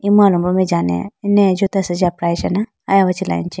emu alombro mai jane eneya jota asenji aprayi china aya hunji laga cha.